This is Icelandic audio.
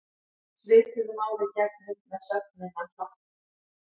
Svipuðu máli gegnir með sögnina hlakka.